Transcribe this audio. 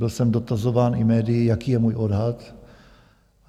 Byl jsem dotazován i médii, jaký je můj odhad.